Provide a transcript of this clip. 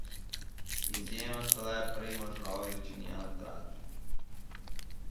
Izjema sta le Primož Roglič in Jan Tratnik.